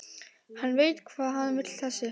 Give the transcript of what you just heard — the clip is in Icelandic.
Hann veit hvað hann vill þessi!